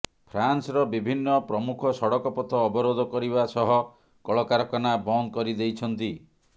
ଫ୍ରାନ୍ସର ବିଭିନ୍ନ ପ୍ରମୁଖ ସଡ଼କ ପଥ ଅବରୋଧ କରିବା ସହ କଳକାରଖାନା ବନ୍ଦ କରିଦେଇଛନ୍ତି